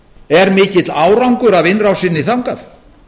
er mikill árangur af innrásinni þangað